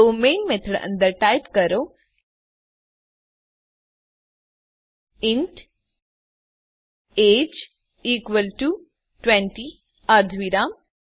તો main method અંદર type કરો ઇન્ટ એજીઇ ઇકવલ ટુ ૨૦ અર્ધવિરામ